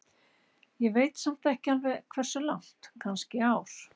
Ég veit samt ekki alveg hversu langt, kannski ár?